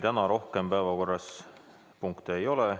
Täna meil päevakorras rohkem punkte ei ole.